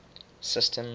system